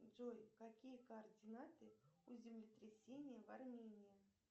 джой какие координаты у землетрясения в армении